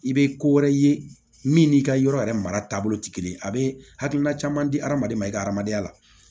I bɛ ko wɛrɛ ye min n'i ka yɔrɔ yɛrɛ mara taabolo tɛ kelen ye a bɛ hakilina caman di hadamaden ma i ka hadamadenya la